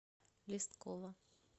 листкова